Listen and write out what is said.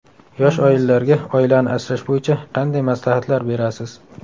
Yosh oilalarga oilani asrash bo‘yicha qanday maslahatlar berasiz?